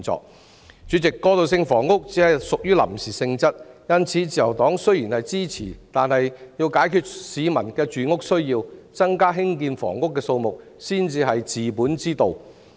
代理主席，過渡性房屋只屬於臨時性質，因此雖然自由黨予以支持，但要解決市民的住屋需要，增加興建房屋的數目才是治本之道。